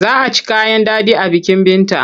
Za a ci kayan daɗi a bikin Binta.